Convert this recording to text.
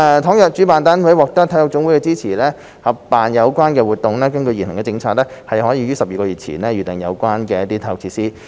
倘若主辦單位獲得體育總會的支持合辦有關活動，根據現行的政策，可於12個月前預訂有關的體育設施。